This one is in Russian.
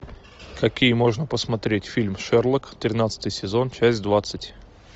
какие можно посмотреть фильм шерлок тринадцатый сезон часть двадцать